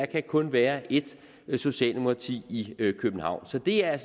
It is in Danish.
kan kun være et socialdemokrati i københavn så det er